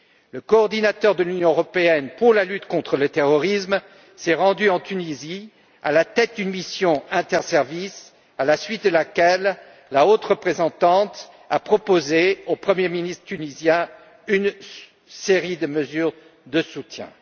Le coordinateur de l'Union pour la lutte contre le terrorisme s'est rendu en Tunisie à la tête d'une mission interservices, à la suite de laquelle la haute représentante a proposé au Premier ministre tunisien une série de mesures de soutien.